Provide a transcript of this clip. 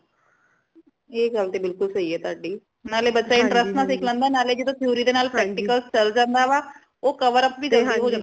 ਐ ਗੱਲ ਤੇ ਬਿਲਕੁਲ ਸਹੀ ਹੈ ਤੁਆੜੀ ਨਾਲੇ ਬੱਚਾ interest ਨਾਲ ਸਿੱਖ ਲੈਂਦਾ ਹੈ ਨਾਲੇ ਜਦੇ theory ਦੇ ਨਾਲ practical ਚਲ ਜਾਂਦਾ ਵਾ ਉਹ cover up ਬੀ ਜਲਦੀ ਹੁੰਦਾ ਵਾ